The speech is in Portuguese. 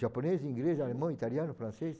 Japonês, inglês, alemão, italiano, francês